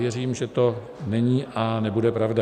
Věřím, že to není a nebude pravda.